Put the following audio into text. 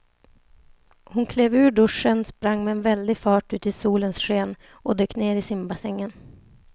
Hon klev ur duschen, sprang med väldig fart ut i solens sken och dök ner i simbassängen.